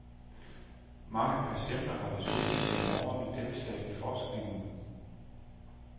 Mange patienter har desuden gennem årene deltaget i forskningen.